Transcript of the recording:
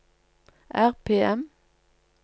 RPM